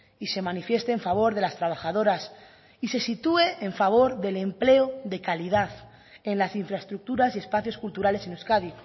y se manifieste en favor de las trabajadoras y se situé en favor del empleo de calidad en las infraestructuras y espacios culturales en euskadi